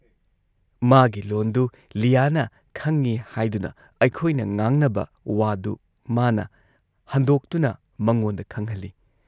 ꯃꯥꯒꯤ ꯂꯣꯟꯗꯨ ꯂꯤꯌꯥꯅ ꯈꯪꯏ ꯍꯥꯏꯗꯨꯅ ꯑꯩꯈꯣꯏꯅ ꯉꯥꯡꯅꯕ ꯋꯥꯗꯨ ꯃꯥꯅ ꯍꯟꯗꯣꯛꯇꯨꯅ ꯃꯉꯣꯟꯗ ꯈꯪꯍꯜꯂꯤ ꯫